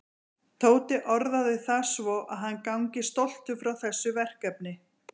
Tóti orðaði það svo að hann gangi stoltur frá þessu verkefni.